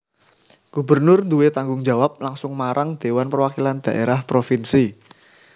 Gubernur duwé tanggung jawab langsung marang Dhéwan Perwakilan Dhaérah Propinsi